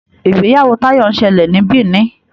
ìgbéyàwó Tayo nsele ní Benin.